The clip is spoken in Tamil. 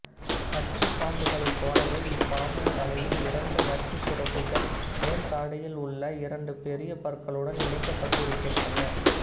நச்சுப் பாம்புகளைப் போலவே இப்பாம்பின் தலையில் இரண்டு நச்சுச் சுரப்பிகள் மேல்தாடையில் உள்ள இரண்டு பெரிய பற்களுடன் இணைக்கப்பட்டிருக்கின்றன